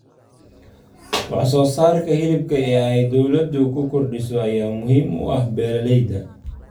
Wax-soo-saarka Hilibka ee ay dawladdu ku kordhiso ayaa muhiim u ah beeralayda.